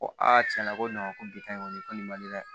Ko tiɲɛ na ko ko bi ta in kɔni ko nin man di ne ye dɛ